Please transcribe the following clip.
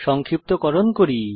সংক্ষিপ্তকরণ করি